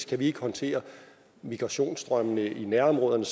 kan vi ikke håndtere migrationsstrømmene i nærområderne